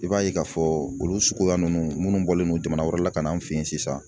I b'a ye k'a fɔ olu suguya ninnu minnu bɔlen no jamana wɛrɛ la ka na an fɛ yen sisan